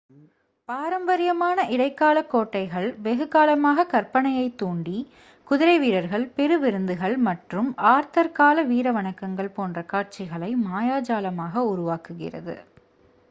பாரம்பரியமான இடைக்கால கோட்டைகள் வெகுகாலமாக கற்பனையைத் தூண்டி குதிரை வீரர்கள் பெரு விருந்துகள் மற்றும் ஆர்தர் கால வீர வணக்கங்கள் போன்ற காட்சிகளைக் மாயாஜாலமாக உருவாக்குகிறது